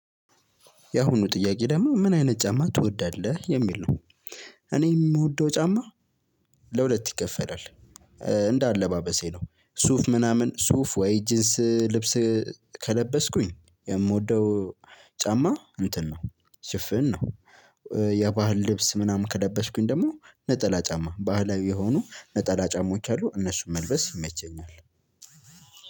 የአሁኑ ጥያቄ ደግሞ ምን አይነት ጫማ ትወዳለህ የሚል ነው? እኔ የምወደው ጫማ። ለሁለት ይከፈላል። እንደ አለባበሴ ነው ሱፍ ምናምን ሱፍ ወይ ጂንስ ልብስ ከለበስኩኝ የምወደው ጫማ እንትን ነው ሽፍን ነው። የባህል ልብስ ምናምን ከለበስኩኝ ደግሞ ነጠላ ጫማ ባህላዊ የሆኑ ነጠላ ጫማዎች አሉ እነሱን መልበስ ይመቸኛል።